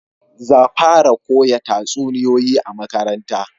Za fara koya tatsuniyoyi a makaranta